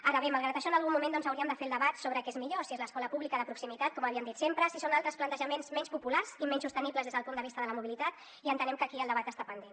ara bé malgrat això en algun moment doncs hauríem de fer el debat sobre què és millor si és l’escola pública de proximitat com havíem dit sempre si són altres plantejaments menys populars i menys sostenibles des del punt de vista de la mobilitat i entenem que aquí el debat està pendent